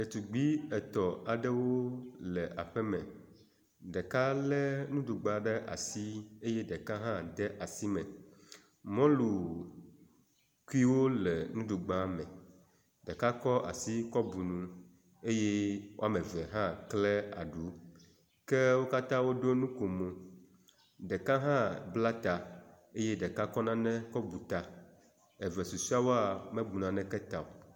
Ɖetugbui etɔ̃ aɖewo le aƒeme, ɖeka lé nuɖugba ɖe asi eye ɖeka hã de asi me. Mɔlukuiwo le nuɖugba me, ɖeka kɔ asi kɔ bu nu eye woame ve hã kle aɖu ke wo katã woɖo nukomo. Ɖeka hã bla ta ,ke ɖeka kɔ nane kɔ bu ta. Eve susɔewoa, mebu naneke ta o.